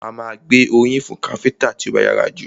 A má a gbé oríyìn fún káfíńńtà tí ó bá yára jù.